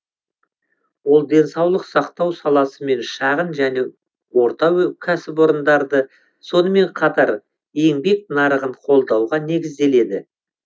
ол денсаулық сақтау саласы мен шағын және орта кәсіпорындарды сонымен қатар еңбек нарығын қолдауға негізделеді